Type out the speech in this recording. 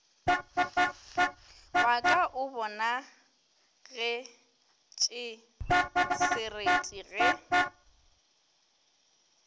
wa ka o bonagetšesereti ge